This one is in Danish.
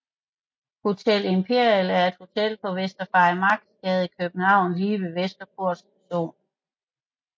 Hotel Imperial er et hotel på Vester Farimagsgade i København lige ved Vesterport Station